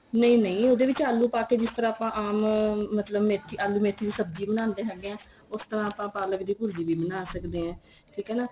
ਨਹੀਂ ਨਹੀਂ ਉਹਦੇ ਵਿੱਚ ਆਲੂ ਪਾ ਕੇ ਜਿਸ ਤਰ੍ਹਾਂ ਆਪਾਂ ਆਮ ਮੇਥੀ ਮਤਲਬ ਆਲੂ ਮੇਥੀ ਦੀ ਸਬਜੀ ਬਣਾਂਦੇ ਹੈਗੇ ਆ ਤਾਂ ਆਪਾਂ ਪਾਲਕ ਦੀ ਭੁਰਜੀ ਵੀ ਬਣਾ ਸਕਦੇ ਏ ਠੀਕ ਏ ਨਾ